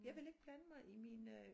Jeg vil ikke blande mig i min øh